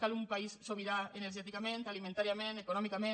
cal un país sobirà energèticament alimentàriament econòmicament